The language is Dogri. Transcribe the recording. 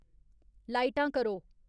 लाइटां करो